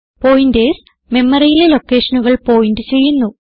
pointers മെമറിയിലെ ലൊക്കേഷനുകൾ point ചെയ്യുന്നു